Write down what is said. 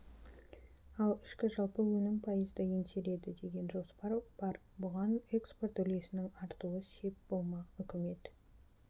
ал ішкі жалпы өнім пайызды еңсереді деген жоспар бар бұған экспорт үлесінің артуы сеп болмақ үкімет